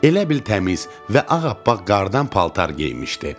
Elə bil təmiz və ağappaq qardan paltar geymişdi.